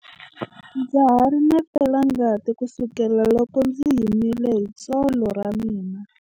Ndza ha ri na felangati kusukela loko ndzi himile hi tsolo ra mina.